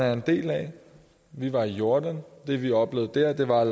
er en del af vi var i jordan og det vi oplevede der der var